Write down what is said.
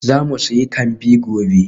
Za mu sayi kambi gobe.